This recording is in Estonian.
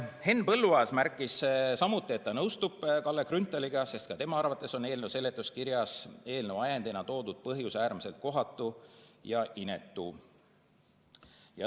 Henn Põlluaas märkis samuti, et ta nõustub Kalle Grünthaliga, sest ka tema arvates on eelnõu seletuskirjas eelnõu ajendina toodud põhjus äärmiselt kohatu ja inetu.